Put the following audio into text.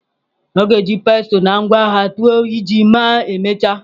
Ọ ga-eji pestle na ngwa agha tụọ ji ma emechaa.